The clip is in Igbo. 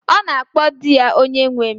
Ọ na-akpọ di ya 'Onyenwe m'